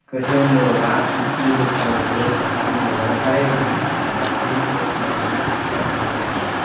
ekko sigon gurobo at jur gocche badey jur gorette ee milebo oley saari pinney otey oley silum ekko jeans pipi pant pinney arow.